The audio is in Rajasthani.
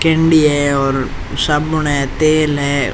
केंडी है और साबुन है तेल है।